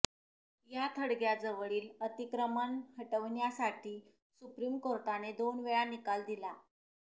या थडग्याजवळील अतिक्रमण हटविण्यासाठी सुप्रीम कोर्टाने दोन वेळा निकाल दिला